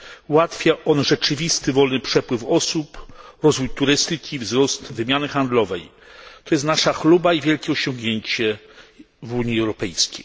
Ułatwia on rzeczywisty wolny przepływ osób, rozwój turystyki, wzrost wymiany handlowej. To jest nasza chluba i wielkie osiągnięcie w Unii Europejskiej.